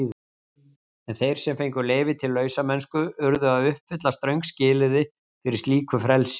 En þeir sem fengu leyfi til lausamennsku urðu að uppfylla ströng skilyrði fyrir slíku frelsi.